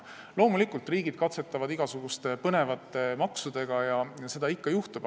Loomulikult, riigid katsetavad igasuguste põnevate maksudega, seda ikka juhtub.